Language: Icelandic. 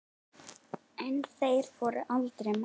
En þeir voru aldrei margir.